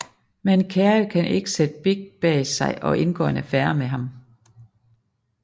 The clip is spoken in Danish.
Men Carrie kan ikke sætte Big bag sig og indgår en affære med ham